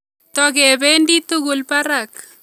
Tokebedi tugul barak